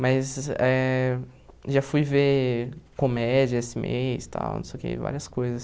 Mas eh já fui ver comédia esse mês tal não sei o que, várias coisas.